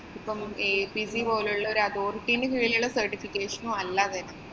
ഇപ്പം ACC പോലുള്ള ഒരു authority ന്‍റെ കീഴിലുള്ള certification ഉം അല്ല അത്.